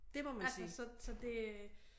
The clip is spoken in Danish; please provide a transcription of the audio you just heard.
Altså så så det